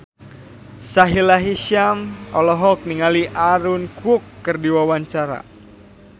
Sahila Hisyam olohok ningali Aaron Kwok keur diwawancara